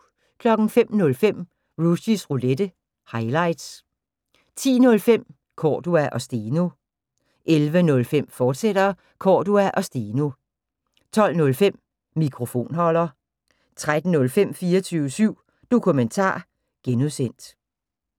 05:05: Rushys Roulette – highlights 10:05: Cordua & Steno 11:05: Cordua & Steno, fortsat 12:05: Mikrofonholder 13:05: 24syv Dokumentar (G)